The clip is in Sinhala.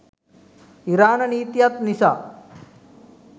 ඉරාණ නීතියත් නිසා